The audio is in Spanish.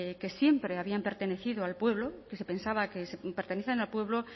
que siempre habían pertenecido al pueblo que se pensaba que pertenecían al pueblo